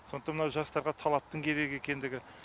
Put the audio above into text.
сондықтан мынау жастарға талаптың керек екендігі